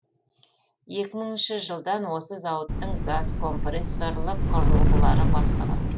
екі мыңыншы жылдан осы зауыттың газкомпрессорлық құрылғылары бастығы